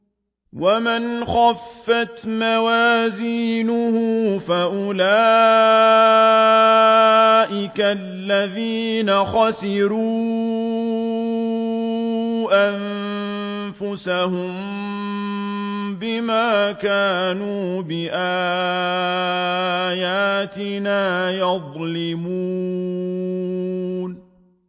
وَمَنْ خَفَّتْ مَوَازِينُهُ فَأُولَٰئِكَ الَّذِينَ خَسِرُوا أَنفُسَهُم بِمَا كَانُوا بِآيَاتِنَا يَظْلِمُونَ